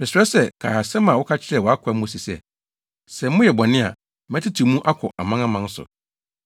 “Mesrɛ sɛ, kae asɛm a woka kyerɛɛ wʼakoa Mose se, ‘Sɛ moyɛ bɔne a, mɛtetew mo mu akɔ amanaman so.